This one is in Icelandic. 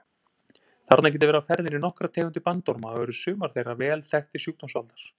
Þarna geta verið á ferðinni nokkrar tegundir bandorma og eru sumar þeirra vel þekktir sjúkdómsvaldar.